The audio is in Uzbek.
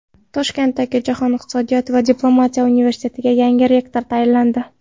Toshkentdagi Jahon iqtisodiyoti va diplomatiya universitetiga yangi rektor tayinlandi.